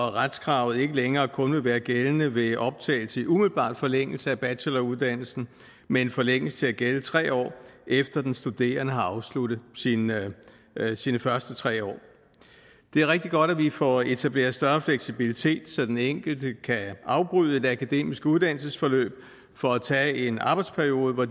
at retskravet ikke længere kun vil være gældende ved optagelse i umiddelbar forlængelse af bacheloruddannelsen men forlænges til at gælde tre år efter at den studerende har afsluttet sine sine første tre år det er rigtig godt at vi får etableret en større fleksibilitet så den enkelte kan afbryde et akademisk uddannelsesforløb for at tage en arbejdsperiode hvor